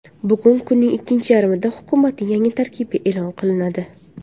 Bugun kunning ikkinchi yarmida hukumatning yangi tarkibi e’lon qilinadi.